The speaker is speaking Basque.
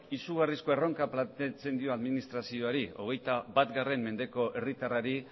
izugarrizko erronka planteatzen dio administrazioari hogeita bat mendeko herritarrari